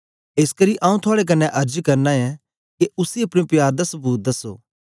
एसकरी आंऊँ थुआड़े कन्ने अर्ज करना ऐं के उसी अपने प्यार दा सबूत दसो